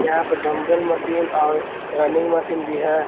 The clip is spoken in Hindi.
यहां पर डंबल मशीन और रनिंग मशीन भी है।